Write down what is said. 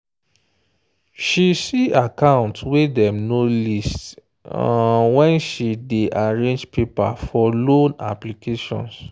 she see account way dem no list when she day arrange paper for loan applications.